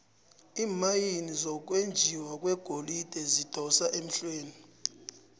iimayini zokwenjiwa kwegolide zidosa emhlweni